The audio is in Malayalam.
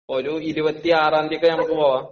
ഒരു 26 ഒക്കെയാകുമ്പോ നമുക്ക് പോകാം?